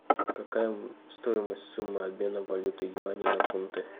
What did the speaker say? какая стоимость суммы обмена валюты юаня на фунты